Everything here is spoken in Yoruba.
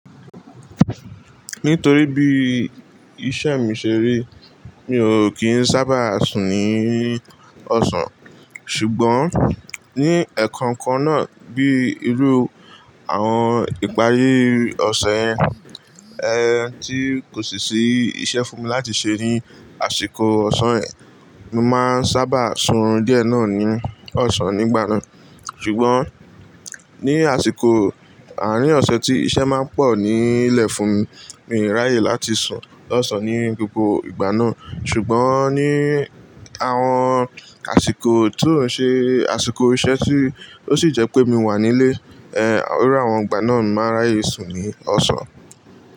Nítorí bí iṣẹ́ mi ṣe rí, mi ò kí ń sábà sùn ní ọ̀sán. Ṣùgbọ́n, ní ẹ̀kankan náà bí irú àwọn ìparí ọ̀sẹ̀ yẹ́n tí kò sì sí iṣẹ́ fún mi láti ṣe ní àsìkò ọ̀sán yẹn, mo máa ń sábà sùnrun díẹ̀ náà ní ọ̀sán nígbà náà. Ṣùgbọ́n, ní àsìkò àárín ọ̀sẹ̀ tí iṣẹ́ má ń pọ̀ nílẹ̀ fún mi, mi ò ráyè láti sùn lọ́sàn ní gbogbo ìgbà náà. Ṣùgbọ́n, ní àwọn àsìkò tó ń ṣe àsìkò iṣẹ́ tí ó sì jẹ́ pé mi wà nílé, ẹ́, irú àwọn ìgbà náà ni mo máa ń ráyè sùn ní ọ̀sán.